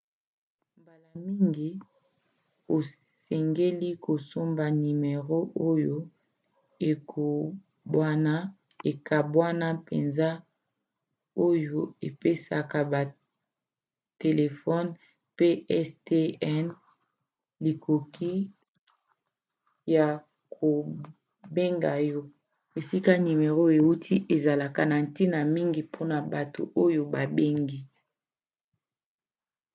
mbala mingi osengeli kosomba nimero oyo ekabwana mpenza oyo epesaka batelefone pstn likoki ya kobenga yo. esika nimero euti ezalaka na ntina mingi mpona bato oyo babengi